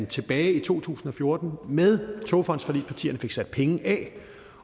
tilbage i to tusind og fjorten med togfondsforligspartierne blev sat penge af